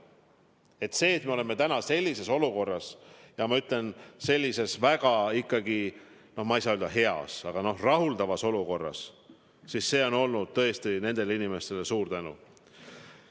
Selle eest, et me oleme täna sellises olukorras, sellises väga, no ma ei saa öelda, et heas, aga rahuldavas olukorras, tõesti nendele inimestele suur tänu.